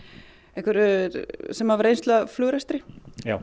einhverjir sem hafa reynslu af flugrekstri já